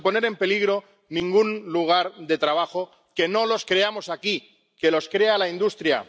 pero sin poner en peligro ningún lugar de trabajo. Que no los creamos aquí, que los crea la industria.